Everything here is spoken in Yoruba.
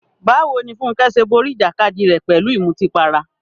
Báwo ni Funke ṣe borí ìjàkadì rẹ̀ pẹ̀lú ìmutípara?